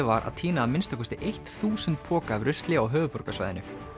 var að tína að minnsta kosti eitt þúsund poka af rusli á höfuðborgarsvæðinu